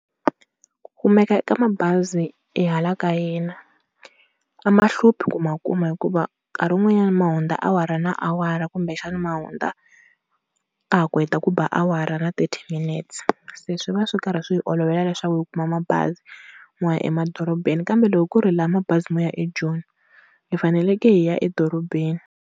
Ku kumeka ka mabazi hala ka hina a ma hluphi ku ma kuma hikuva nkarhi wun'wanyana ma hundza awara na awara kumbexana, ma hundza ka ha ku heta ku ba awara na thirty minutes se swi va swi karhi swi hi olovela leswaku hi kuma mabazi mo ya emadorobeni. Kambe loko ku ri hi lava mabazi mo ya eJoni hi faneleke hi ya edorobeni.